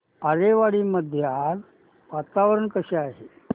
आरेवाडी मध्ये आज वातावरण कसे आहे